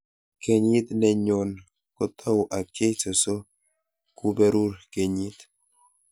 Kenyit ne nyon koatau ak Jesu so kuperur kenyit